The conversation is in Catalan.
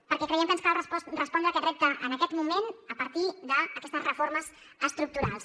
perquè creiem que ens cal respondre a aquest repte en aquest moment a partir d’aquestes reformes estructurals